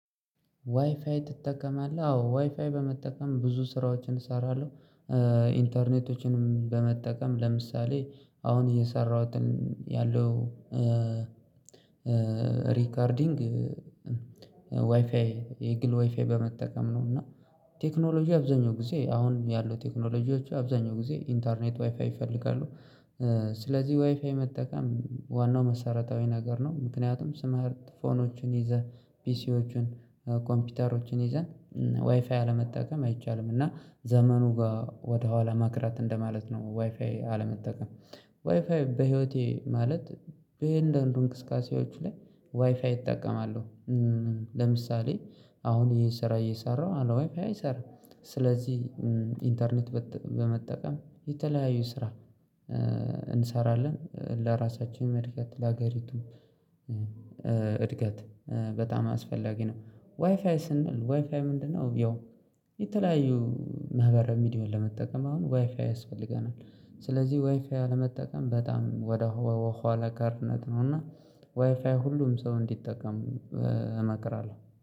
ዋይፋይ ትጠቀማለህ አዎ ዋይፋይ በመጠቀም ብዙ ስራዎችን እሰራለሁ። ኢንተርኔቶችንም በመጠቀም ለምሳሌ አሁን እየሰራሁትን ያለው ሪከርዲንግ ዋይፋይ የግል ዋይፋይ በመጠቀም ነው። እና ቴክኖሎጂ አብዛኛው ጊዜ አሁን ያለው ቴክኖሎጂዎች አብዛኛው ጊዜ ኢንተርኔት ዋይፋይ ይፈልጋሉ። ስለዚህ ዋይፋይ መጠቀም ዋናው መሰረታዊ ነገር ነው። ምክንያቱም ትምህርት ፎኖችን ይዘን ፒሲዎችን ኮምፒውተሮችን ይዘን ዋይፋይ አለመጠቀም አይቻልም እና ዘመኑ ጋር ወደኋላ መቅረት እንደማለት ነው። አለመጠቀም ዋይፋይ በህይወቴ ማለት በእያንዳንዱ እንቅስቃሴዎች ላይ ዋይፋይ እጠቀማለሁ። ለምሳሌ አሁን ይሄን ስራ እየሰራሁ አለ ዋይፋይ አይሰራም። ስለዚህ ኢንተርኔት በመጠቀም የተለያዩ ስራ እንሰራለን ለራሳችን እድገት ለሀገሪቱ እድገት በጣም አስፈላጊ ነው። ዋይፋይ ስንል ዋይፋይ ምንድነው? ያው የተለያዩ ማህበራዊ ሚዲያ ለመጠቀም አሁን ዋይፋይ ያስፈልገናል። ስለዚህ ዋይፋይ አለመጠቀም በጣም ወደ ኋላ ቀርነት ነው። እና ዋይፋይ ሁሉም ሰው እንዲጠቀም እመክራለሁ።